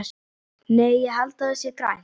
Nei, ég held að það sé grænt.